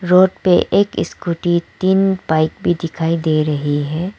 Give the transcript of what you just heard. Road पे एक scooty तीन बाइक भी दिखाई दे रही है।